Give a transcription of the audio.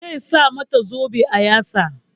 Zai sa mata zobe a yatsa.